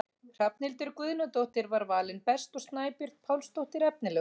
Hrafnhildur Guðnadóttir var valin best og Snæbjört Pálsdóttir efnilegust.